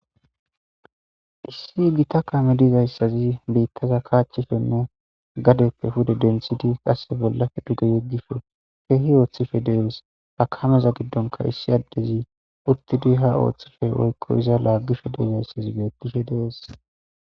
Issi gita kameza dizayisi bittaza kashishene gadepe pude denthidi qaseka duge yegishe dugge kehi othishe deyesi ha kameza giddonikka issi adeyi uttidi othishe deyesi